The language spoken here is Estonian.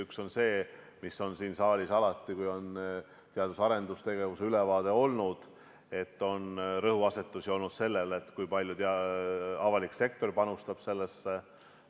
Üks on see, mis on siin saalis alati olnud, kui on teadus- ja arendustegevuse ülevaade, et rõhuasetus on olnud sellel, kui palju avalik sektor sellesse panustab.